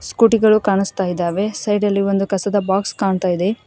ಸ್ಕೂಟಿಗಳು ಕಾಣಿಸ್ತಾ ಇದ್ದಾವೆ ಸೈಡಲ್ಲಿ ಒಂದು ಕಸದ ಬಾಕ್ಸ್ ಕಾಣಿಸ್ತಾ ಇದೆ.